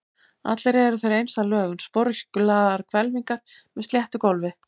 Allir eru þeir eins að lögun, sporöskjulagaðar hvelfingar með sléttu gólfi.